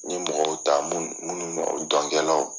N ye mɔgɔw ta minnu minnu dɔnkɛlaw.